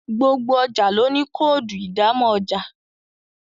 gbogbo ọjà ló ní Kóòdù ìdámọ̀ ọjà